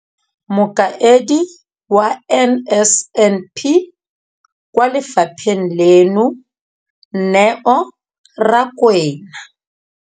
Mokaedi wa NSNP kwa lefapheng leno, Neo Rakwena,